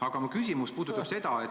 Aga mu küsimus on tegelikult selline.